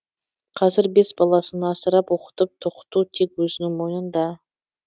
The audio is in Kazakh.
қазір бес баласын асырап оқытып тоқыту тек өзінің мойнында